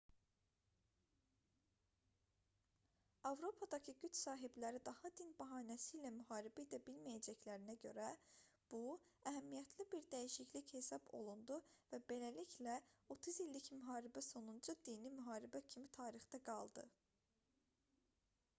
avropadakı güc sahibləri daha din bəhanəsi ilə müharibə edə bilməyəcəklərinə görə bu əhəmiyyətli bir dəyişiklik hesab olundu və beləliklə otuz i̇llik müharibə sonuncu dini müharibə kimi tarixdə qaldı